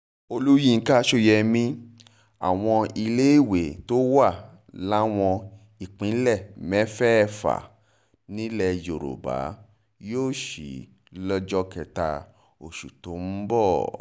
olùyinka sóyemí àwọn iléèwé tó wà láwọn ìpínlẹ̀ mẹ́fẹ̀ẹ̀fà nílẹ̀ yorùbá yóò sí lọ́jọ́ kẹta oṣù tó ń bọ̀